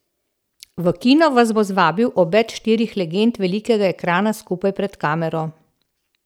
V kino vas bo zvabil obet štirih legend velikega ekrana skupaj pred kamero.